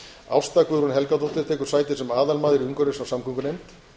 ásta guðrún helgadóttir tekur sæti sem aðalmaður í umhverfis og samgöngunefnd